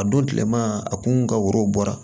A don tilema a kun ka woro bɔra